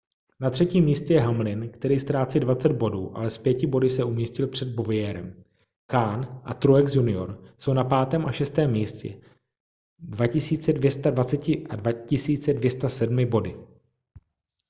na třetím místě je hamlin který ztrácí 20 bodů ale s pěti body se umístil před bowyerem kahne a truex jr jsou na 5. a 6. místě s 2 220 a 2 207 body